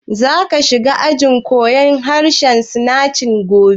Ka za shiga ajin koyan harshen Sinanci gobe?